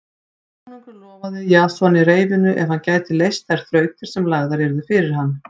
Konungur lofaði Jasoni reyfinu ef hann gæti leyst þær þrautir sem lagðar yrðu fyrir hann.